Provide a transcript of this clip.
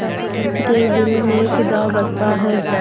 पंच के दिल में खुदा बसता है